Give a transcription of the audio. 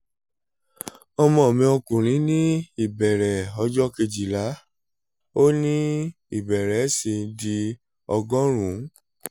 ọmọ mi ọkùnrin ní ìbẹ̀rẹ̀ ọjọ́ kejìlá ó ní ìbẹ̀rẹ̀ sí í di ọgọ́rùn - ún